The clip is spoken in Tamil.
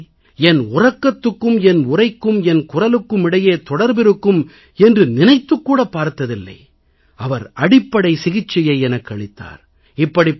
இதுவரை என் உறக்கத்துக்கும் என் உரைக்கும் என் குரலுக்கும் இடையே தொடர்பிருக்கும் என்று நினைத்துக் கூடப் பார்த்ததில்லை அவர் அடிப்படை சிகிச்சையை எனக்கு அளித்தார்